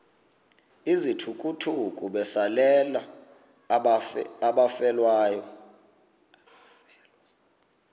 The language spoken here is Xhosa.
izithukuthuku besalela abafelwa